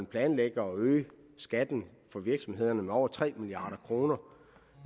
planlægger at øge skatten for virksomhederne med over tre milliard